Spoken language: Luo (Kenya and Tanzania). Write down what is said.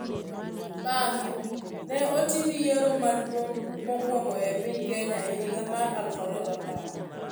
Bang'e, ne otim yiero maduong' mokwongo e piny Kenya e higa mar 2010.